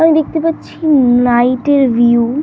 আমি দেখতে পারছি নাইট -এর ভিউ ।